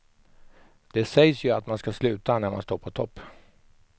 Det sägs ju att man ska sluta när man står på topp.